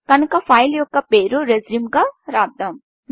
కనుక ఫైల్ యొక్క పేరును Resumeరెజ్యూంగా రాస్తాం